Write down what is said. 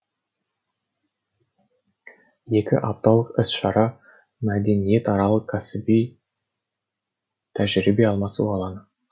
екі апталық іс шара мәдениаралық және кәсіби тәжірибе алмасу алаңы